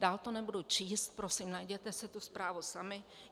Dál to nebudu číst, prosím, najděte si tu zprávu sami.